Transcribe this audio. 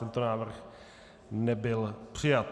Tento návrh nebyl přijat.